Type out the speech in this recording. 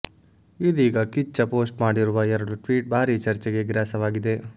ಇದೀಗ ಕಿಚ್ಚ ಪೋಸ್ಟ್ ಮಾಡಿರುವ ಎರಡು ಟ್ವೀಟ್ ಭಾರಿ ಚರ್ಚೆಗೆ ಗ್ರಾಸವಾಗಿದೆ